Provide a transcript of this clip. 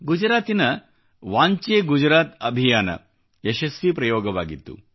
ಗುಜರಾತಿನ ವಾಂಚೆ ಗುಜರಾತ್ ಅಭಿಯಾನ ಯಶಸ್ವಿ ಪ್ರಯೋಗವಾಗಿತ್ತು